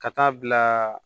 Ka taa bila